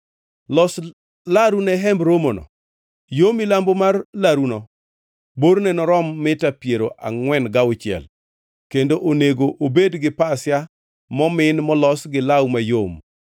“Los laru ne Hemb Romono. Yo milambo mar laruno borne norom mita piero angʼwen gauchiel kendo onego obed gi pasia momin molos gi law mayom,